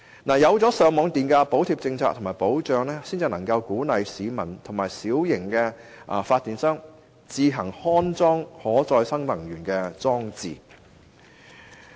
只有設定上網電價補貼的保障，才能夠鼓勵市民和小型發電商自行安裝可再生能源裝置。